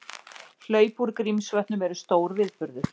Hlaup úr Grímsvötnum eru stór viðburður